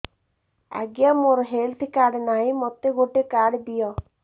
ଆଜ୍ଞା ମୋର health card ନାହିଁ ମୋତେ ଗୋଟେ କାର୍ଡ ଦିଅ